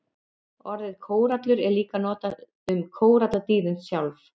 Orðið kórallur er líka notað um kóralladýrin sjálf.